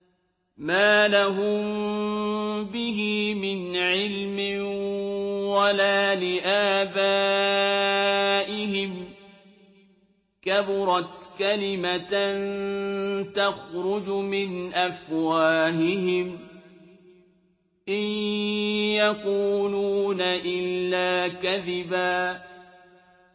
مَّا لَهُم بِهِ مِنْ عِلْمٍ وَلَا لِآبَائِهِمْ ۚ كَبُرَتْ كَلِمَةً تَخْرُجُ مِنْ أَفْوَاهِهِمْ ۚ إِن يَقُولُونَ إِلَّا كَذِبًا